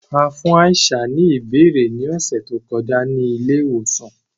A fun Aisha ni abẹrẹ ni ọsẹ to kọja ni ile-iwosan.